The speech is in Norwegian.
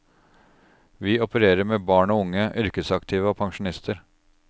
Vi opererer med barn og unge, yrkesaktive og pensjonister.